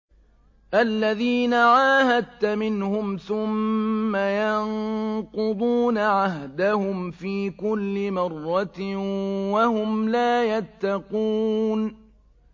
الَّذِينَ عَاهَدتَّ مِنْهُمْ ثُمَّ يَنقُضُونَ عَهْدَهُمْ فِي كُلِّ مَرَّةٍ وَهُمْ لَا يَتَّقُونَ